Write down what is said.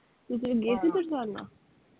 ਤੁਸੀਂ ਗਏ ਸੀ ਬਰਸਾਨੇ?